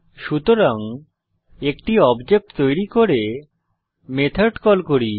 সুতরাং একটি অবজেক্ট তৈরী করে মেথড কল করি